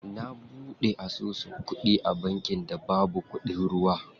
Na buɗe asusu kuɗi a bankin da babu kuɗin ruwa.